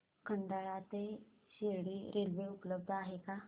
खंडाळा ते शिर्डी रेल्वे उपलब्ध आहे का